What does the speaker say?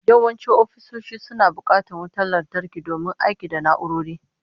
Yawancin ofisoshi suna bukatar wutar lantarki domin aiki da na'urori